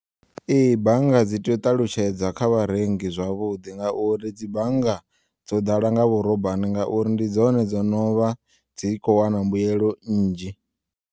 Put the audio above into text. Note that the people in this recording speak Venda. Ee, bannga dzi tea u ṱalutshedza kha vharengi zwavhuḓi ngauri dzi bannga dzo ḓala nga vhurobani ngauri ndi dzone dzono vha dzi kho wana mbuyelo nnzhi.